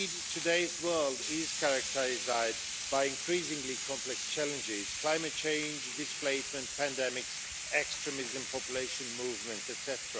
Today's world is characterised by increasingly complex challenges climate change, displacement, pandemics, extremism, population movements etc.